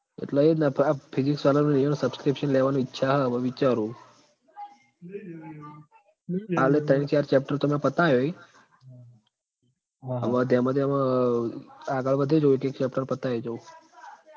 એટલે એ જ ન આ physics sir ઈયોનો subscription લેવાની ઈચ્છા હ વિચારું કાલે તૈણ ચાર chapter તો મેં પતાયા હી અવ ધેમ ધેમ આગળ વધી જોયે એક chapter પત એટલે જોવુ